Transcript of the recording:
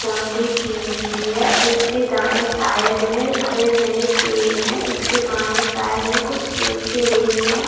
Boundary की हुई है और इसके दाएं साएड में हरे-भरे पेर हैं इसके बाएं साएड में कुछ सूखे रेत हैं।